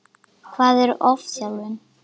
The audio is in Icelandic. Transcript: Hvað er ofþjálfun?